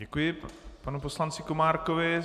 Děkuji panu poslanci Komárkovi.